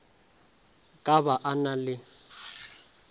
ka ba a na le